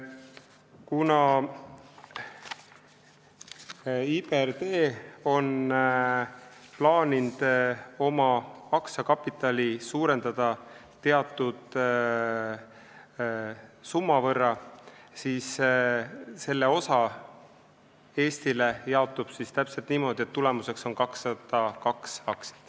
Kuna IBRD on plaaninud oma aktsiakapitali suurendada teatud summa võrra, siis see jaotub täpselt niimoodi, et Eestile on tulemuseks 202 aktsiat.